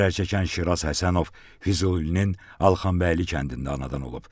Zərər çəkən Şiraz Həsənov Füzulinin Alxanbəyli kəndində anadan olub.